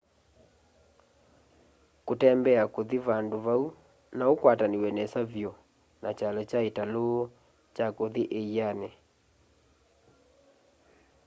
kũtembea kuthi vandu vau nokũkwatanĩw'e nesa vyũ na kyalo kya ĩtalũ kya kũthi ĩianĩ